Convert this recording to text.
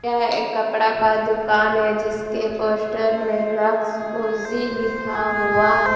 यह कपड़ा का दुकान है जिसके पोस्टर में लक्स कोजी लिखा हुआ है ।